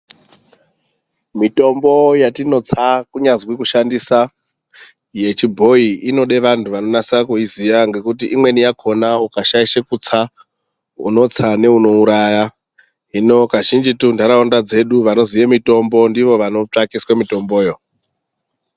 Mitombo yatinotsa kunyazwi kushandisa yechibhoyi inode vantu vanonasa kuiziya ngekuti imweni yakona ukashaishe kutsa unotsa neunouraya, hino kazhinjitu ntaraunda dzedu vanoziye mitombo ndivo vanotsvakiswe mitomboyo.